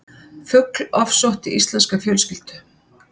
Fugl ofsótti íslenska fjölskyldu